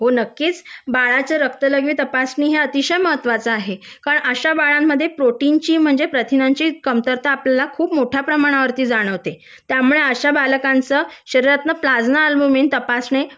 हो नक्कीच बाळाचं रक्त लघवी तपासणी हे अतिशय महत्त्वाचा आहे कारण अशा बाळांमध्ये प्रोटीनची म्हणजे प्रथिनांची कमतरता आपल्याला खूप मोठ्या प्रमाणावर ती जाणवते त्यामुळे अशा बालकांचं शरीरातलं प्लाजमा अल्बमिन तपासणे